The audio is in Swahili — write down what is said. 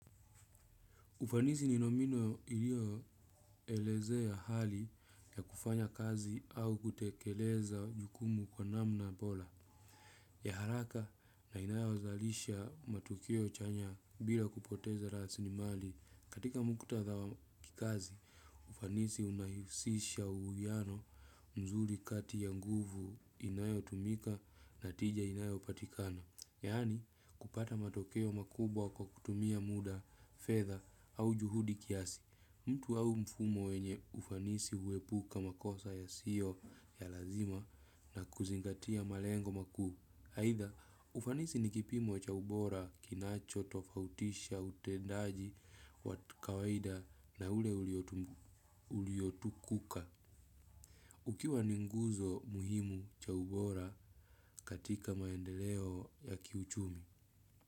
Ufanisi ni nomino ilio elezea hali ya kufanya kazi au kutekeleza jukumu kwa namna bola. Ya haraka na inayo zalisha matukio chanya bila kupoteza rasilimali katika mkutadha wa kikazi. Ufanisi unahisisha uwiano mzuri kati ya nguvu inayotumika na tija inayo patikana. Yani kupata matokeo makubwa kwa kutumia muda, fedha au juhudi kiasi, mtu au mfumo wenye ufanisi huepuka makosa yasiyo ya lazima na kuzingatia malengo makuu. Haitha, ufanisi ni kipimo cha ubora, kinacho, tofautisha, utendaji, kawaida na ule uliotukuka. Ukiwa ni nguzo muhimu cha ubora katika maendeleo ya kiuchumi.